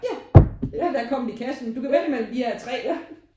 Ja det er der kommet i kassen du kan vælge mellem de her tre